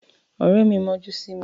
Ọ̀rẹ́ mi mọ́jú sí mi.